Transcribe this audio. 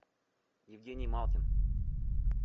евгений малкин